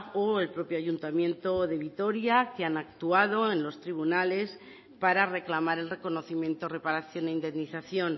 o el propio ayuntamiento de vitoria que han actuado en los tribunales para reclamar el reconocimiento reparación e indemnización